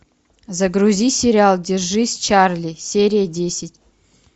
загрузи сериал держись чарли серия десять